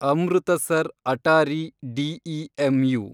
Amritsar Attari DEMU